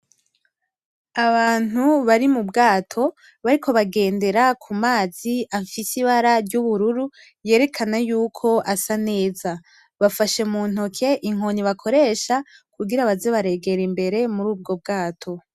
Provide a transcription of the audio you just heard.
Abantu bari mu bwato, bariko bagendera ku mazi afise ibara ry’ubururu yerekana yuko asa neza. Bafashe muntoke inkoni bakoresha kugira baze baregera imbere murubwo bwato.